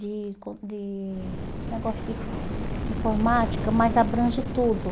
De com de negócio de informática, mas abrange tudo.